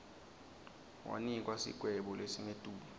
wanikwa sigwebo lesingetulu